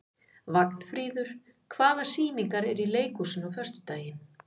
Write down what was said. Vagnfríður, hvaða sýningar eru í leikhúsinu á föstudaginn?